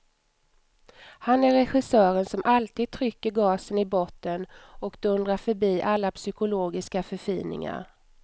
Han är regissören som alltid trycker gasen i botten och dundrar förbi alla psykologiska förfiningar.